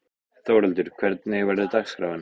Þórhildur, hvernig verður dagskráin?